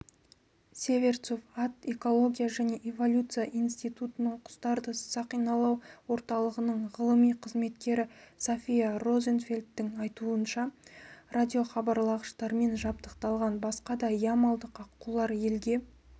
северцов ат экология және эволюция институтының құстарды сақиналау орталығының ғылыми қызметкері софия розенфельдтің айтуынша радиохабарлағыштармен жабдықталған басқа да ямалдық аққулар елге